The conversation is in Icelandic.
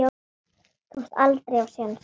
Ég komst aldrei á séns.